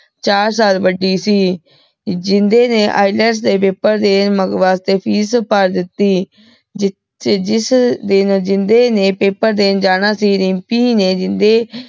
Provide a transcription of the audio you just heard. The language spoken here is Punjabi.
ਚਾਰ ਸਾਲ ਵਾਦੀ ਸੀ ਜਿੰਦੇ ਨੇ ILETS ਦੇ paper ਦੀਨ ਵਾਸ੍ਟੀ ਫੀਸ ਭਰ ਦਿਤੀ ਜਿਥੇ ਜਿਸ ਦਿਨ ਜਿੰਦੇ ਨੇ ਪੈਪਰ ਦੀਨ ਜਾਣਾ ਸੀ ਦਿਮ੍ਪੀ ਨੇ ਜਿੰਦੇ